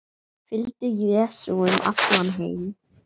Fylgdu Jesú um allan heim